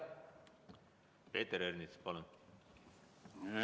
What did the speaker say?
Peeter Ernits, palun!